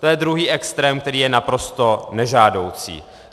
To je druhý extrém, který je naprosto nežádoucí.